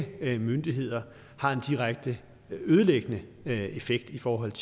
myndigheder har en direkte ødelæggende effekt i forhold